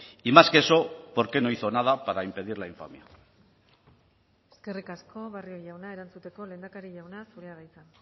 y más que eso por qué no hizo nada para impedir la infamia eskerrik asko barrio jauna erantzuteko lehendakari jauna zurea da hitza